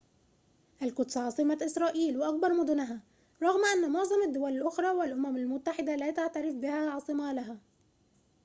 القدس عاصمة إسرائيل وأكبر مدنها رغم أن معظم الدول الأخرى والأمم المتحدة لا تعترف بها عاصمة لها